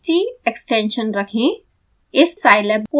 txt extension रखें